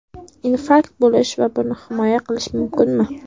Infarkt bo‘lish va buni bilmay qolish mumkinmi?